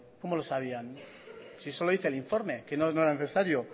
cómo lo sabían si eso lo dice el informe que no era necesario